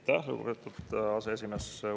Aitäh, lugupeetud aseesimees!